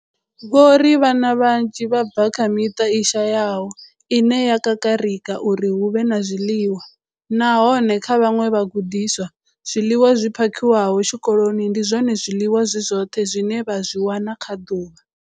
Vho ri vhana vhanzhi vha bva kha miṱa i shayaho ine ya kakarika uri hu vhe na zwiḽiwa, nahone kha vhaṅwe vhagudiswa, zwiḽiwa zwi phakhiwaho tshikoloni ndi zwone zwiḽiwa zwi zwoṱhe zwine vha zwi wana kha ḓuvha.